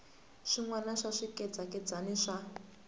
swin wana swa swikhedzakhedzani swa